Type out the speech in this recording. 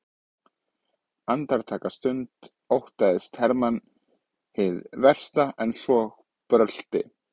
Andartaksstund óttaðist Hermann hið versta en svo brölti